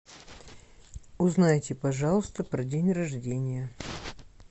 узнайте пожалуйста про день рождения